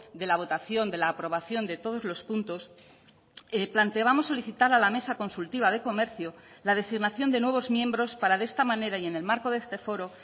de la votación de la aprobación de todos los puntos planteábamos solicitar a la mesa consultiva de comercio la designación de nuevos miembros para de esta manera y en el marco de este foro